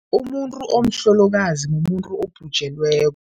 Umuntu omhlolokazi mumuntu obhujelweko.